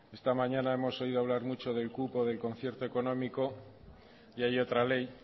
esta mañana hemos oído hablar mucho del cupo del concierto económico y hay otra ley